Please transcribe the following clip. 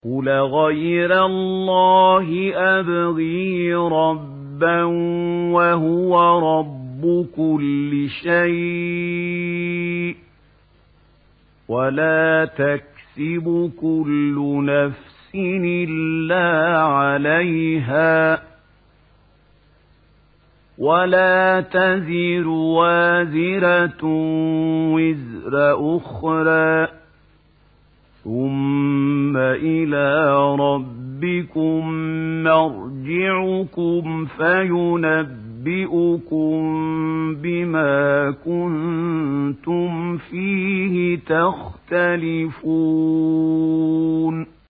قُلْ أَغَيْرَ اللَّهِ أَبْغِي رَبًّا وَهُوَ رَبُّ كُلِّ شَيْءٍ ۚ وَلَا تَكْسِبُ كُلُّ نَفْسٍ إِلَّا عَلَيْهَا ۚ وَلَا تَزِرُ وَازِرَةٌ وِزْرَ أُخْرَىٰ ۚ ثُمَّ إِلَىٰ رَبِّكُم مَّرْجِعُكُمْ فَيُنَبِّئُكُم بِمَا كُنتُمْ فِيهِ تَخْتَلِفُونَ